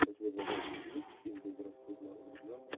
у тебя в загашнике есть фильм безрассудно влюбленный